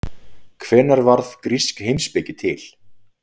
Hvenær varð grísk heimspeki til?